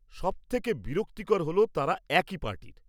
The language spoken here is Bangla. সবথেকে বিরক্তিকর হল তাঁরা একই পার্টির।